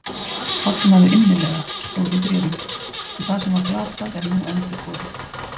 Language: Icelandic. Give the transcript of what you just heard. Fagnaðu innilega, stóð í bréfinu, því það sem var glatað er nú endurborið